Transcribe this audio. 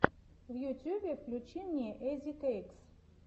в ютьюбе включи мне изикэйкс